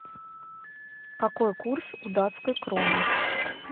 какой курс у датской кроны